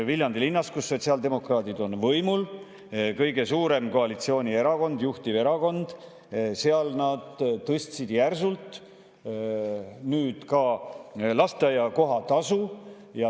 Viljandi linnas, kus sotsiaaldemokraadid on võimul, nad on kõige suurem koalitsioonierakond, juhtiv erakond, nad tõstsid järsult ka lasteaiakoha tasu.